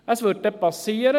Das wird geschehen: